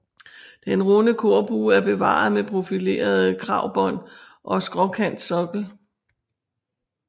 Den runde korbue er bevaret med profilerede kragbånd og skråkantsokkel